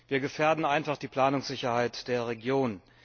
Wir gefährden einfach die Planungssicherheit der Region.